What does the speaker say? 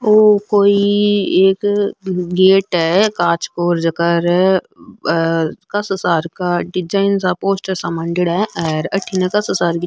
यो कोई एक गेट है कांच को जेकर कासा सारका डिजाइन सा पोस्टर सा मांडेडा है और अठीने कासा सारकी --